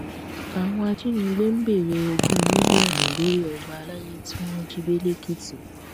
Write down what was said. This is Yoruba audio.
àwọn ajínigbé ń béèrè ogún mílíọnù lórí ọba àlàyé tí wọn jí gbé lẹkìtì